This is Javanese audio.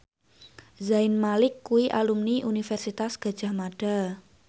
Zayn Malik kuwi alumni Universitas Gadjah Mada